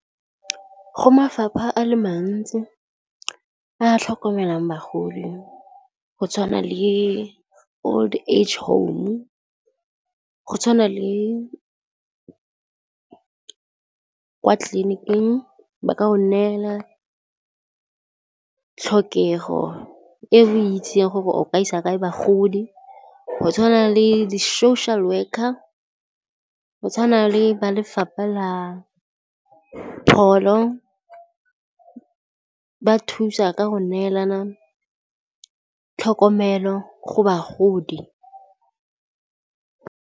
Go mafapha a le mantsi a tlhokomelang bagodi go tshwana le old age home-u, go tshwana le kwa tleliniking ba ka go neela tlhokego e o itsing gore ya gore o ka isa kae bagodi, go tshwana le di social worker, go tshwana le ba Lefapha la Pholo ba thusa ka go neelana tlhokomelo go bagodi.